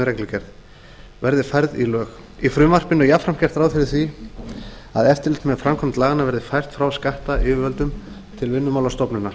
reglugerð verði færð í lög í frumvarpinu er jafnframt gert ráð fyrir að eftirlit með framkvæmd laganna verði fært frá skattyfirvöldum til vinnumálastofnunar